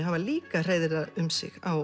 hafa líka hreiðrað um sig á